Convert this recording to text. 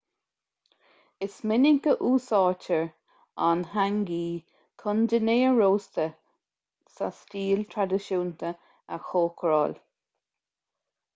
is minic a úsáidtear an hangi chun dinnéar rósta sa stíl traidisiúnta a chócaráil